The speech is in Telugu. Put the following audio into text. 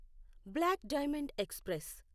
black diamond express